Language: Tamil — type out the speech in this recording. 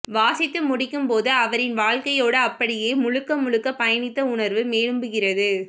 வாசித்து முடிக்கும் போது அவரின் வாழ்க்கையோடு அப்படியே முழுக்க முழுக்க பயணித்த உணர்வு மேலும்புகிறது